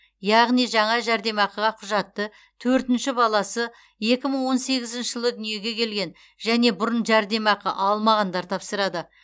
яғни жаңа жәрдемақыға құжатты төртінші баласы екі мың он сегізінші жылы дүниеге келген және бұрын жәрдемақы алмағандар тапсырады